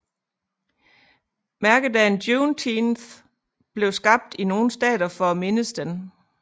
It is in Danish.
Mærkedagen Juneteenth blev skabt i nogle stater for at mindes den